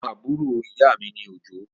Ọmọ àbúrò ìyámi ni Òjó.